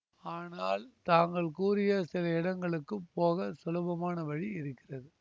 ஆனால் தாங்கள் கூறிய சில இடங்களுக்குப் போக சுலபமான வழி இருக்கிறது